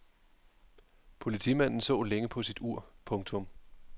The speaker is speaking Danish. Politimanden så længe på sit ur. punktum